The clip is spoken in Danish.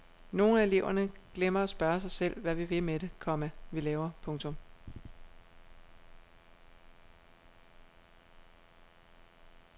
Nogle af eleverne glemmer at spørge sig selv hvad vi vil med det, komma vi laver. punktum